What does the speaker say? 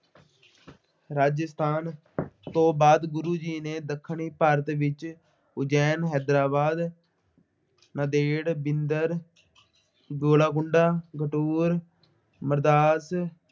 ਰਾਜਸਥਾਨ ਤੋਂ ਬਾਅਦ ਗੁਰੂ ਜੀ ਨੇ ਦੱਖਣੀ ਭਾਰਤ ਵਿੱਚ ਉਜ਼ੈਨ, ਹੈਦਰਾਬਾਦ, ਨਾਂਦੇੜ ਬਿੰਦਰ, ਗੁਲਾਕੁੰਡਾ,